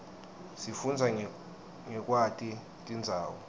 sifundza ngekwati tindzawo